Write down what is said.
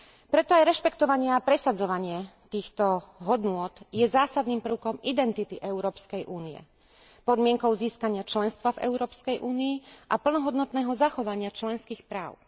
Preto aj rešpektovanie a presadzovanie týchto hodnôt je zásadným prvkom identity Európskej únie, podmienkou získania členstva v Európskej únii a plnohodnotného zachovania členských práv.